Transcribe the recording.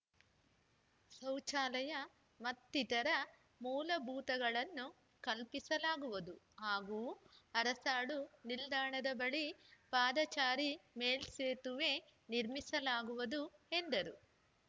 ಶೌಚಾಲಯ ಮತ್ತಿತರ ಮೂಲಭೂತಗಳನ್ನು ಕಲ್ಪಿಸಲಾಗುವುದು ಹಾಗೂ ಅರಸಾಳು ನಿಲ್ದಾಣದ ಬಳಿ ಪಾದಚಾರಿ ಮೇಲ್ಸೇತುವೆ ನಿರ್ಮಿಸಲಾಗುವುದು ಎಂದರು